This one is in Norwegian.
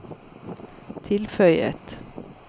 tilføyet